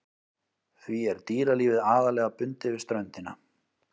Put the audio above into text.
Því er dýralífið aðallega bundið við ströndina.